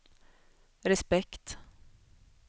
respekt